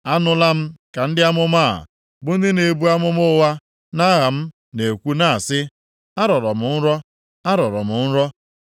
“Anụla m ka ndị amụma a, bụ ndị na-ebu amụma ụgha nʼaha m na-ekwu na-asị, ‘Arọrọ m nrọ! Arọrọ m nrọ!’